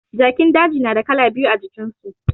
Jakin daji na da kala biyu a jikin su